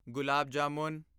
gulab jamun